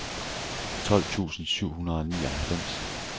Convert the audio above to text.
tolv tusind syv hundrede og nioghalvfems